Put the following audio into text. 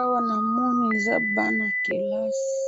Awa namoni eza bana yakelasi,